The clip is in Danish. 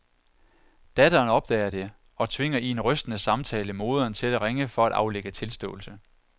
Datteren opdager det og tvinger i en rystende samtale moderen til at ringe for at aflægge tilståelse.